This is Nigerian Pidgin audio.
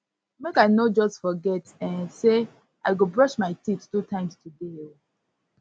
make i no just forget um sey i go brush brush my teeth two times today um